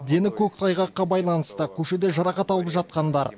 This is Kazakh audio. дені көктайғаққа байланысты көшеде жарақат алып жатқандар